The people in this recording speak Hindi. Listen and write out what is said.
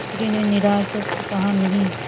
चौधरी ने निराश हो कर कहानहीं